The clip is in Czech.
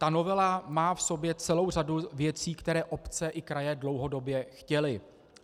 Ta novela má v sobě celou řadu věcí, které obce i kraje dlouhodobě chtěly.